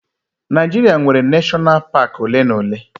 Naijiria nwere neshọnal paak ole na ole